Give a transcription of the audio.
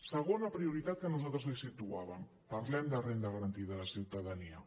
segona prioritat que nosaltres li situàvem parlem de renda garantida de ciutadania